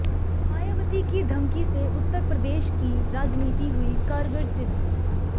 मायावती की धमकी से उत्तर प्रदेश की राजनीति हुई कारगर सिद्ध